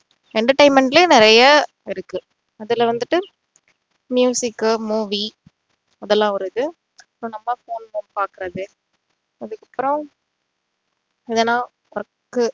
entertainment லயும் நிறைய இருக்கு அதுல வந்துட்டு movie அதெல்லாம் ஒரு இது இப்போ நம்ம polimer பாக்குறது அதுக்கப்பறம் இதெல்லாம்